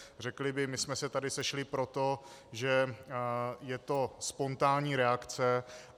Řekli by: my jsme se tady sešli proto, že je to spontánní reakce.